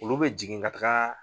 Olu bɛ jigin ka taga